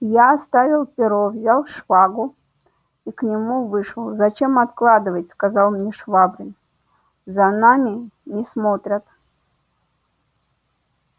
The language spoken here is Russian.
я оставил перо взял шпагу и к нему вышел зачем откладывать сказал мне швабрин за нами не смотрят